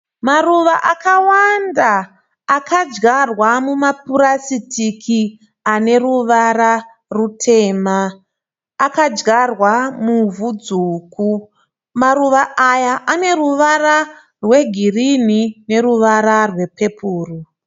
Maruva akawanda akadyarwa mumapurasitiki ane ruvara rutema. Akadyarwa muvhu dzvuku. Maruva aya ane ruvara rwegirinhi neruvara rwepepuro.